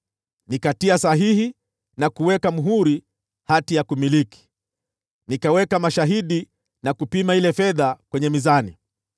Nikatia sahihi na kuweka muhuri hati ya kumiliki, nikaweka mashahidi, na kupima ile fedha kwenye mizani.